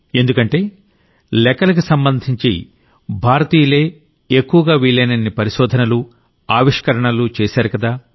ఎందుకంటే లెక్కలకి సంబంధించి భారతీయులే ఎక్కువగా వీలైనన్ని పరిశోధనలు ఆవిష్కారాలు చేశారుకదా